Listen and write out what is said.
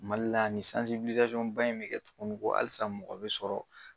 Mali la yan nin ba in bɛ kɛ tuguni ko halisa mɔgɔ be sɔrɔ